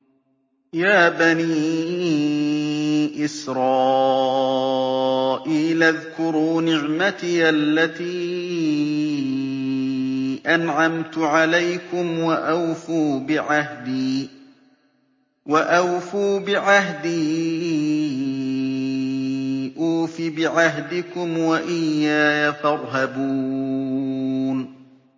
يَا بَنِي إِسْرَائِيلَ اذْكُرُوا نِعْمَتِيَ الَّتِي أَنْعَمْتُ عَلَيْكُمْ وَأَوْفُوا بِعَهْدِي أُوفِ بِعَهْدِكُمْ وَإِيَّايَ فَارْهَبُونِ